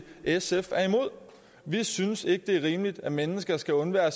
sf er imod vi synes ikke det er rimeligt at mennesker skal undvære